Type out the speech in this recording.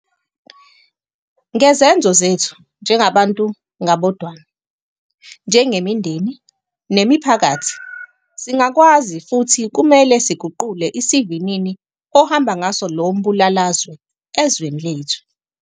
Ngezenzo zethu - njengabantu ngabodwana, njengemindeni, nemiphakathi - singakwazi futhi kumele siguqule isivinini ohamba ngaso lo mbulalazwe ezweni lethu.